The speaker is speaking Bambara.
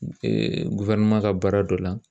ka baara dɔ la